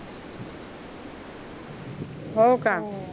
हो का